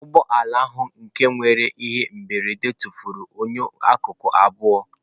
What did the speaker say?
Ụgbọ ala ahụ nke mere ihe mberede tụfuru enyo akụkụ abụọ.